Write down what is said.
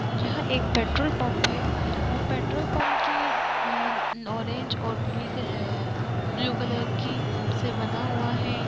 यह एक petrol pump है और पेट्रोल पम्प की अ-ऑरेंज और पीले ब्लू कलर की से बना हुआ हैं।